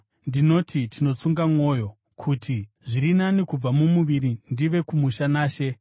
Ndinoti tinotsunga mwoyo, kuti, zviri nani kubva mumuviri ndive kumusha naShe.